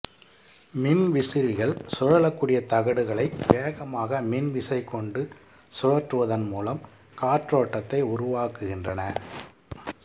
மின்விசிறிகள் சுழலக்கூடிய தகடுகளை வேகமாக மின்விசை கொண்டு சுழற்றுவதன் மூலம் காற்றோட்டத்தை உருவாக்குகின்றன